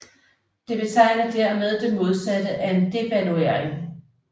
Det betegner dermed det modsatte af en devaluering